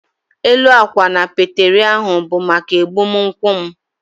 Élú akwa na peteri ahụ bu maka egbumunkwu m